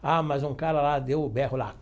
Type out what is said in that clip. Ah, mas um cara lá deu o berro lá.